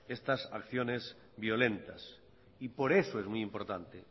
estas acciones violentas y por eso es muy importante